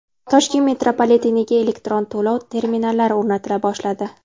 Toshkent metropoliteniga elektron to‘lov terminallari o‘rnatila boshladi.